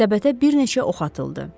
Səbətə bir neçə ox atıldı.